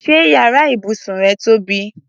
Ṣé yàrá ibùsùn rẹ tóbi?